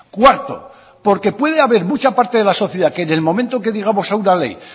cuarto porque puede haber mucha parte de la sociedad que en el momento que digamos a una ley